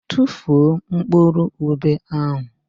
Tufuo mkpụrụ ube ahụ!